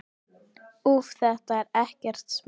Úff, þetta er ekkert smá.